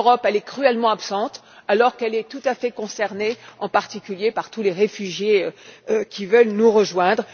L'Europe est cruellement absente alors qu'elle est tout à fait concernée, en particulier, en raison de tous les réfugiés qui veulent nous rejoindre.